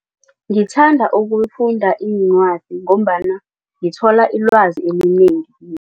Ngithanda ukufunda iincwadi ngombana ngithola ilwazi elinengi.